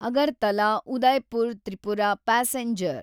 Agartala Udaipur Tripura passenger